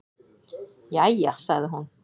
"""Jæja, sagði hún."""